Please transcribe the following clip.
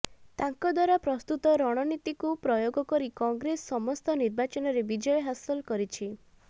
ତାଙ୍କ ଦ୍ବାରା ପ୍ରସ୍ତୁତ ରଣନୀତିକୁ ପ୍ରୟୋଗ କରି କଂଗ୍ରେସ ସମସ୍ତ ନିର୍ବାଚନରେ ବିଜୟ ହାସଲ କରିଛି